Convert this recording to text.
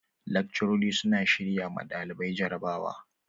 Lakcarori suna shirya ma ɗalibai jarabawa.